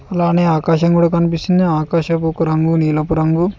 అలానే ఆకాశం కూడా కనిపిస్తుంది ఆకాశపు రంగు నీలోపు రంగు.